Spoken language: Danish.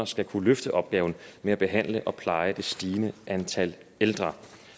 skal kunne løfte opgaven med at behandle og pleje det stigende antal ældre